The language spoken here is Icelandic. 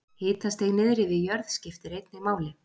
Hitastig niðri við jörð skiptir einnig máli.